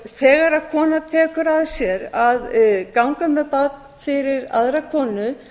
þegar kona tekur að sér að ganga með barn fyrir aðra konu